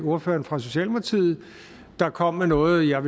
ordføreren for socialdemokratiet der kom med noget jeg